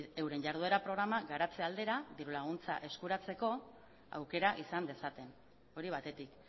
euren jarduera programa garatze aldera dirulaguntza eskuratzeko aukera izan dezaten hori batetik